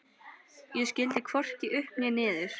Ég skildi hvorki upp né niður.